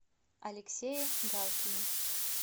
алексее галкине